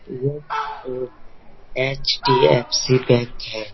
यह एक HDFC bank है।